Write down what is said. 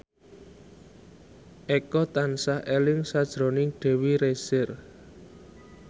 Eko tansah eling sakjroning Dewi Rezer